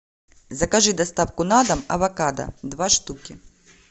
закажи доставку на дом авокадо два штуки